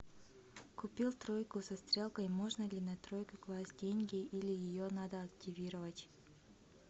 купил тройку со стрелкой можно ли на тройку класть деньги или ее надо активировать